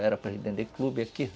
Era para gente vender clube aqui.